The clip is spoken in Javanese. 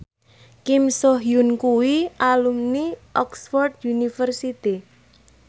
Kim So Hyun kuwi alumni Oxford university